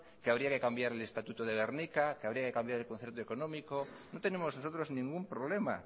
que habría que cambiar el estatuto de gernika que habría que cambiar el concierto económico no tenemos nosotros ningún problema